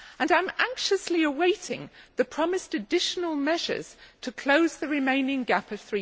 I am anxiously awaiting the promised additional measures to close the remaining gap of